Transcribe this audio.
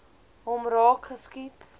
hom raak geskiet